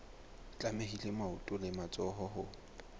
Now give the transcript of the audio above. tlamehile maoto le matsoho ho